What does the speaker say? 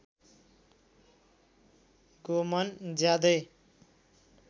गोमन ज्यादै